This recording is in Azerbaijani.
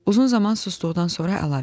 Uzun zaman susduqdan sonra əlavə etdi.